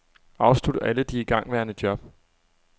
Afslut alle de igangværende job.